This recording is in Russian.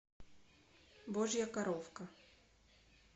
божья коровка